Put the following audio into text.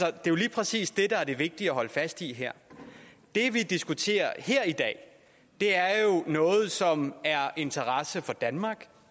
er jo lige præcis det der er det vigtige at holde fast i her det vi diskuterer her i dag er noget som er af interesse for danmark